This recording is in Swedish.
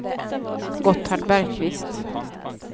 Gotthard Bergkvist